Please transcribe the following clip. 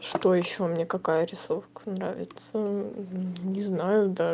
что ещё мне какая рисовка нравится не знаю